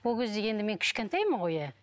ол кезде енді мен кішкентаймын ғой иә